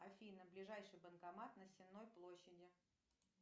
афина ближайший банкомат на сенной площади